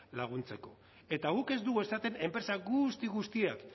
laguntzeko eta guk ez dugu esaten enpresa guzti guztiak